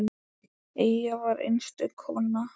Eyja var einstök kona.